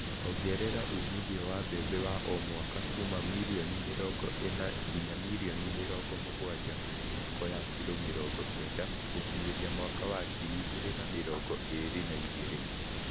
Ongerera umithio wa mbembe wa o mwaka kuuma mirioni mĩrongo ĩna nginya mirioni mĩrongo mũgwanja (mĩhuko ya kilo mĩrongo kenda) gũkinyĩria mwaka wa ngiri igĩrĩ na mĩrongo ĩri na igĩrĩ